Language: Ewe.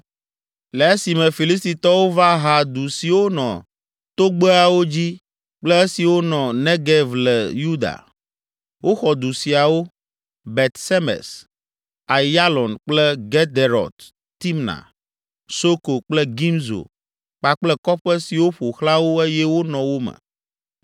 le esime Filistitɔwo va ha du siwo nɔ togbeawo dzi kple esiwo nɔ Negev le Yuda. Woxɔ du siawo: Bet Semes, Aiyalon kple Gederot Timna, Soko kple Gimzo kpakple kɔƒe siwo ƒo xlã wo eye wonɔ wo me.